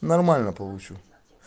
нормально получу